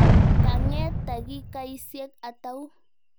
Ka ng'et takikaisiek atau?